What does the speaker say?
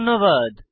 ধন্যবাদ